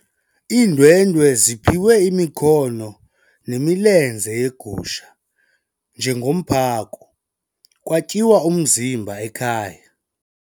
Iindwendwe ziphiwe imikhono nemilenze yegusha njengomphako kwatyiwa umzimba ekhaya.